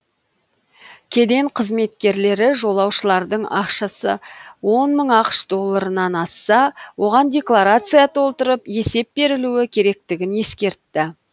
кеден қызметкерлері жолаушылардың ақшасы он мың ақш долларынан асса оған декларация толтырып есеп берілуі керектігін ескертті